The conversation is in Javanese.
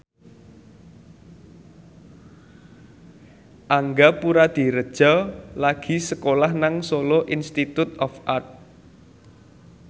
Angga Puradiredja lagi sekolah nang Solo Institute of Art